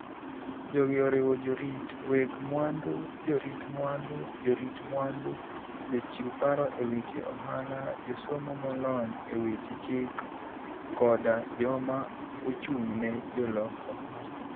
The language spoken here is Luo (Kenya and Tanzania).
Jogi oriwo jorit, weg mwandu, jorit mwandu, jorit mwandu, jochiw paro e weche ohala, josomo molony e weche chik, koda joma ochung' ne jolok ohala.